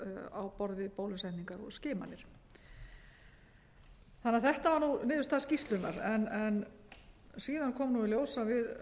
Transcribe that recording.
á borð við bólusetningar og skimanir þetta var niðurstaða skýrslunnar síðan kom í ljós að við